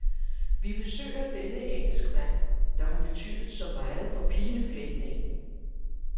Vi besøger denne engelskmand, der har betydet så meget for pilefletningen.